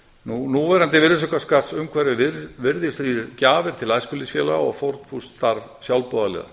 aðilum núverandi virðisaukaskattsumhverfi virðir því gjafir til æskulýðsfélaga og fórnfúst starf sjálfboðaliða